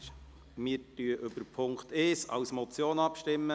Wir stimmen über den Punkt 1 als Motion ab.